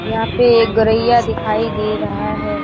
यहाँ पे एक गौरैया दिखाई दे रहा हैं।